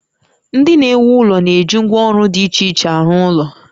Ndị na-ewu ụlọ na-eji ngwá ọrụ dị iche iche arụ ụlọ